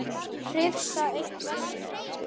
Hrifsa eitt veskið.